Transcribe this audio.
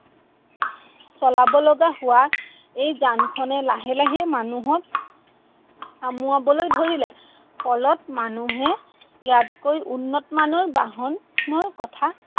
চলাবলগা হোৱা এই যানখনে লাহে লাহে মানুহক আমুৱাবলৈ ধৰিলে। ফলত মানুহে ইয়াতকৈ উন্নতমানৰ বাহনৰ কথা